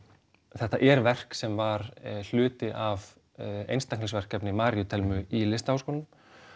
þetta er verk sem var hluti af einstaklingsverkefni Maríu Thelmu í Listaháskólanum